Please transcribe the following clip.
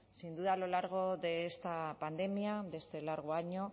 sin duda a lo largo de esta pandemia de este largo año